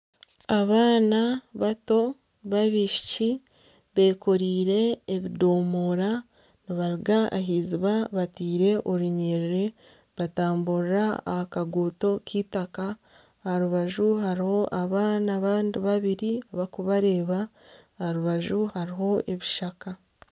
Abaana bato b'abaishiki bekoreire ebidoomora nibaruga ah'iziiba bataire orunyiriri nibatamburira aha kaguuto k'eitaaka aha rubaju hariho abaana abandi babiri bakubareeba aha rubaju hariho ebishaka.